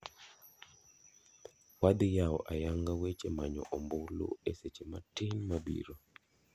Wadhi yawo ayang'a weche manyo ombulu e seche matin mabiro.